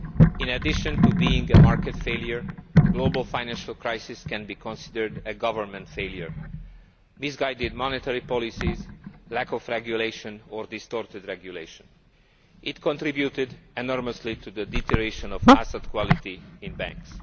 In addition to being a market failure, the global financial crisis can be considered a government failure misguided monetary policies, lack of regulation or distorted regulation. This contributed enormously to the deterioration of asset quality in banks.